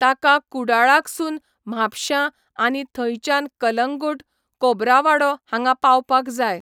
ताका कुडाळाकसून म्हापशा आनी थंयच्यान कलंगूट, कोबरावाडो हांगा पावपाक जाय.